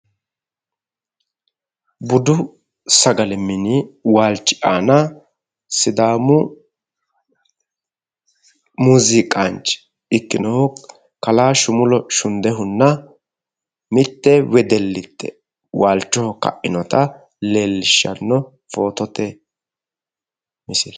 Budu sagale mini waalchi aana sidaamu muuziiqaanchi ikkinohunna mitte wedellite waalchoho ka'inota footote misile.